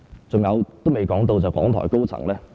還有，我也未談到港台高層......